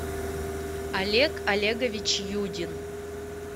олег олегович юдин